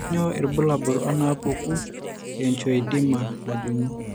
Kainyio irbulabul onaapuku eangioedema najung'i?